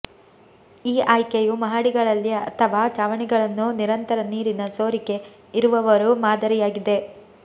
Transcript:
ಈ ಆಯ್ಕೆಯು ಮಹಡಿಗಳಲ್ಲಿ ಅಥವಾ ಛಾವಣಿಗಳನ್ನು ನಿರಂತರ ನೀರಿನ ಸೋರಿಕೆ ಇರುವವರು ಮಾದರಿಯಾಗಿದೆ